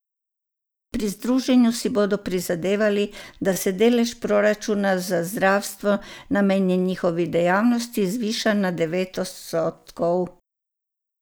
Pri združenju si bodo prizadevali, da se delež proračuna za zdravstvo, namenjen njihovi dejavnosti, zviša na devet odstotkov.